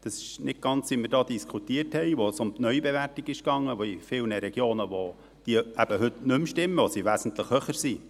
Dies ist nicht ganz so, wie wir es diskutiert hatten, als es um die Neubewertung ging, welche in vielen Regionen nicht mehr stimmen und wesentlich höher sind.